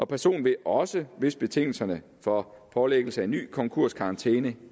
personen vil også hvis betingelserne for pålæggelse af en ny konkurskarantæne